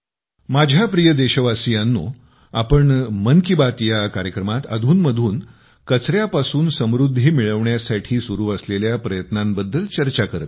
माझ्या प्रिय देशवासियांनो आपण मन की बात या कार्यक्रमात अधूनमधून कचऱ्यापासून समृद्धी मिळविण्यासाठी सुरु असलेल्या प्रयत्नांबद्दल चर्चा करत असतो